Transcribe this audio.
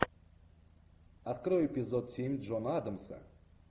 открой эпизод семь джона адамса